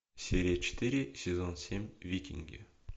серия четыре сезон семь викинги